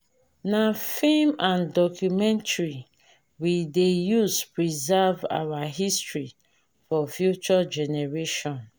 na film and documentary we dey use preserve our history for future generation.